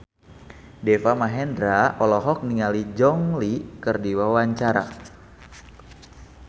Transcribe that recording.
Deva Mahendra olohok ningali Gong Li keur diwawancara